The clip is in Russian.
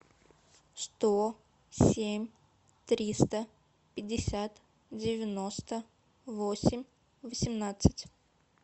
сто семь триста пятьдесят девяносто восемь восемнадцать